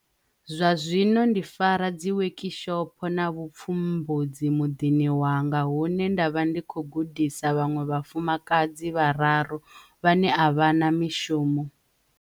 Zwa zwino ndi fara dziwekishopo na vhupfumbudzi muḓini wanga hune nda vha ndi tshi khou gudisa vhaṅwe vhafumakadzi vhararu vhane a vha na mishumo.